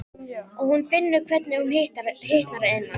Og hún finnur hvernig hún hitnar að innan.